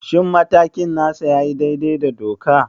Shin matakin nasa ya yi daidai da doka?